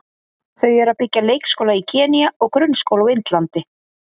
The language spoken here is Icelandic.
Þau eru að byggja leikskóla í Kenýa og grunnskóla á Indlandi.